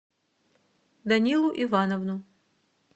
данилу ивановну